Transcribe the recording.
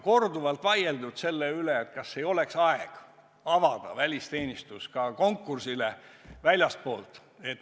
Korduvalt on vaieldud selle üle, kas ei oleks aeg avada välisteenistus ka konkursile väljastpoolt.